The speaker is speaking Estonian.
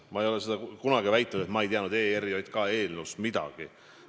Ma ei ole seda kunagi väitnud, et ma ei teadnud ERJK eelnõust midagi.